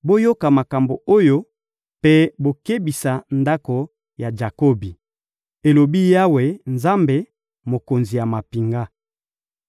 «Boyoka makambo oyo mpe bokebisa ndako ya Jakobi,» elobi Yawe, Nzambe, Mokonzi ya mampinga.